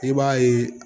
I b'a ye